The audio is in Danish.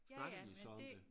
Snakker de så om det?